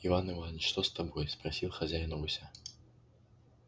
иван иванович что с тобой спросил хозяин у гуся